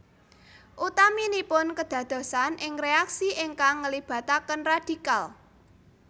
Utaminipun kedadosan ing reaksi ingkang ngelibataken radikal